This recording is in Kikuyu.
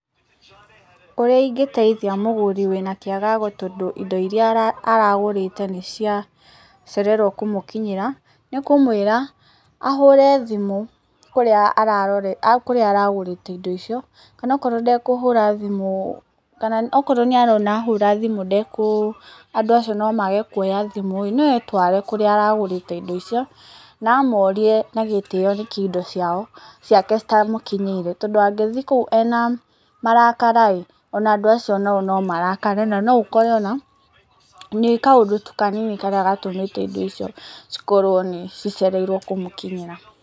Ũrĩa ingĩteithia mũgũri wina kĩagago tondũ indo iria aragũrĩte nĩ ciacererwo kũmũkinyĩra, nĩ kũmwĩra ahũre thimũ kũrĩa aragũrĩte indo icio kana okorwo ndekũhũra thimũ, kana okorwo nĩ arona ahũra thimũ andũ acio nomage kuoya thimũ no etware kũrĩa aragũrĩte indo icio na amorie nagitĩo nĩkii indo ciake citamukinyeire tondu angĩthiĩ kũu ena marakara ĩĩ o na andũ acio nao no marakare na no ũkore ona nĩ kaũndu tũ kanini karĩa gatũmĩte indo cikorwo nĩ cicereirwo kumukinyĩra.